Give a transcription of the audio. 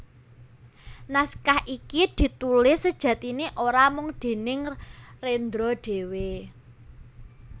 Naskah iki ditulis sejatiné ora mung déning Rendra dhéwé